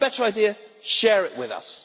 If you have a better idea, share it with us.